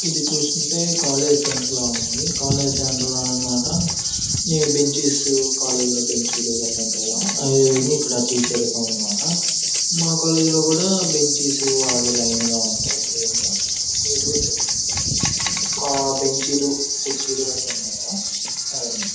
ఇది చూస్తుంటే college centre లాగా ఉంది. కాలేజీ సెంటర్ లోని మాట ఈ బెంచీసు కాలేజీ లో బెంచీలు గట్రా ఉంటాయా అవన్నీ అక్కడ టీచర్ ఉన్నారని మాట. మా కాలేజీ లో కూడా బెంచెస్ అలాగే లైన్ గా ఉంటాయి అలాగే క్లీన్ గా . నీట్ గా పెట్టుకుంటా మేము కూడా. ఒక బెంచీ లు కుర్చీలు గట్రా ఉన్నాయి కదా అదన్నమాట